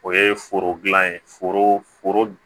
O ye foro dilan ye foro